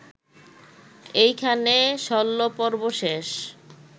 এইখানে শল্যপর্ব শেষ